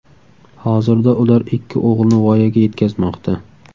Hozirda ular ikki o‘g‘ilni voyaga yetkazmoqda.